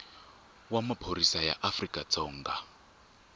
wa maphorisa ya afrika dzonga